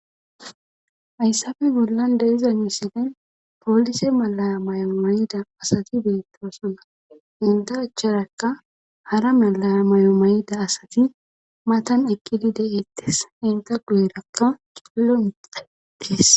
Hayssappe bollan de'iza misilen poolise mala mayo mayida asati beettosona. Hinkka achcharakka hara mala mayo mayida asati matan ekkidi deeettes. Eta guyerakka cililo deetes.